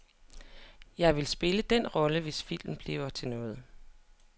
Jeg vil spille den rolle, hvis filmen bliver til noget.